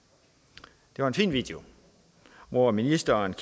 det er en fin video hvor ministeren